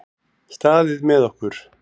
Staðið með okkur